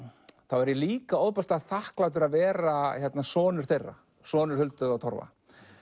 er ég líka ofboðslega þakklátur að vera sonur þeirra sonur Huldu og Torfa